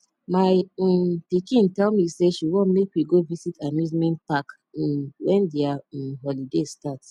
my um pikin tell me say she wan make we go visit amusement park um wen their um holiday start